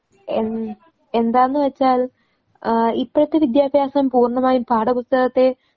A എന്താന്നുവെച്ചാൽ ആഹ്‌ ഇപ്പഴത്തെ വിദ്യാഭ്യാസം പൂർണമായും പാഠപുസ്തകത്തെ